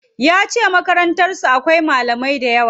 Yace Makarantar su akwai malamai dayawa.